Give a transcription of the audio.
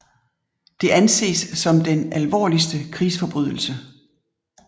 Det anses som den alvorligste krigsforbrydelse